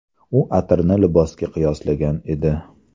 U atirni libosga qiyoslagan edi.